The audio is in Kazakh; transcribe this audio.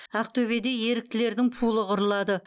ақтөбеде еріктілердің пулы құрылады